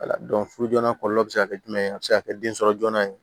Wala furu joona kɔlɔlɔ bɛ se ka kɛ jumɛn ye a bɛ se ka kɛ den sɔrɔ joona ye